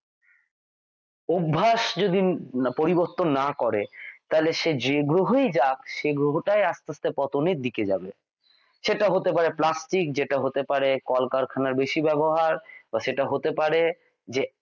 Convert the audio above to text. অভ্যাস যদি পরিবর্তন না করে তাহলে সে যেই গ্রহেই যাক সেই গ্রহটাই আস্তে আস্তে পতনের দিকে যাবে সেটা হতে পারে প্লাস্টিক যেটা হতে পারে কল কারখানার বেশী ব্যবহার বা সেটা হতে পারে যে